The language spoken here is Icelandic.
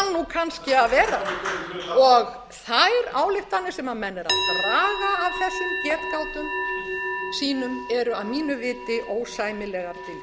kannski að vera og þær ályktanir sem menn eru að draga af þessum getgátum sínum eru að mínu viti ósæmilegar dylgjur en málið er komið í réttan farveg ég vil